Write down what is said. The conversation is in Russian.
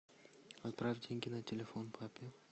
отправь деньги на телефон папе